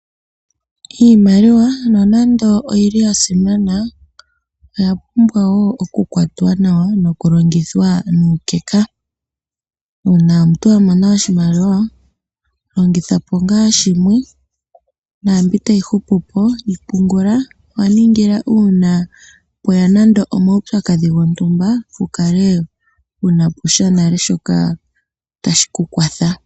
Iimaliwa nonando oya simana, oya pumbwa okukwatwa nawa nokulongithwa nuukeka. Uuna omuntu a mona oshimaliwa longitha po ngaa shimwe naambi tayi hupu po yi pungula wa ningila uuna pwe ya nando omaupyakadhi gontumba wu kale wu na po sha shoka tashi ku kwatha.